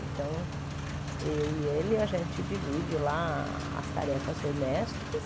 Então, eu e ele, a gente divide lá as tarefas domésticas.